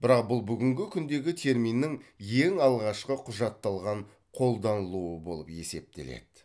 бірақ бұл бүгінгі күндегі терминнің ең алғашқы құжатталған қолданылуы болып есептеледі